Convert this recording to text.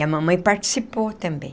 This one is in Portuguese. E a mamãe participou também.